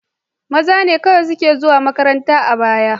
Maza ne kawai suke zuwa makaranta a baya.